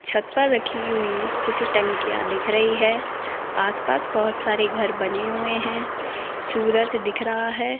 छत पर रखी हुई कुछ टंकियां दिख रही हैं आसपास बहुत सारे घर बने हुए हैं सूरज दिख रहा है।